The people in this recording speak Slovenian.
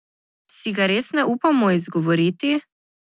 Si ga res ne upamo izgovoriti?